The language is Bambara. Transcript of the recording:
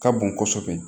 Ka bon kosɛbɛ